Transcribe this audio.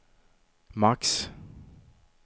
max